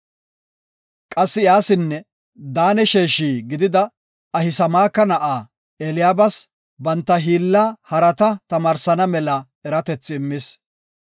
Qassi iyasinne Daane sheeshi gidida Ahisamaaka na7aa Eliyaabas, banta hiilla harata tamaarsana mela eratethi immis